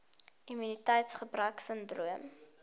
immuniteits gebrek sindroom